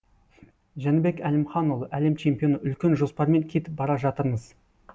жәнібек әлімханұлы әлем чемпионы үлкен жоспармен кетіп бара жатырмыз